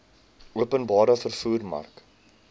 openbare vervoer mark